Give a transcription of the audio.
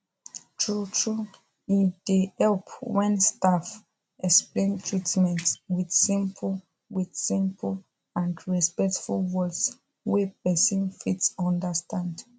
truetrue e dey help when staff explain treatment with simple with simple and respectful words wey person fit understand